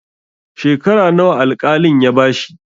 Shekara nawa al-kalin ya bashi?